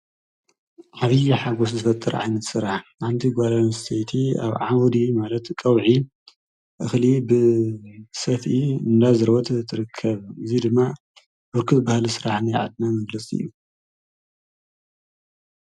ዓብዪ ሓጎስ ዝፈጥር ዓይነት ስራሕ ሓንቲ ጓል ኣንስተይቲ ኣብ ዓዉዲ ማለት እክሊ ቐውዒ ብሰፍኢ እናዝረወት ትርከብ እዚ ድማ ርክብ ባህሊ ስራሕ ናይ ዓድና መግልፂ እዩ።